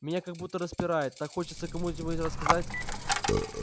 меня как будто распирает так хочется кому-нибудь рассказать